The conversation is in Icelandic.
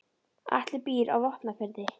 Atli býr á Vopnafirði.